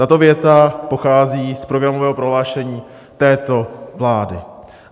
Tato věta pochází z programového prohlášení této vlády.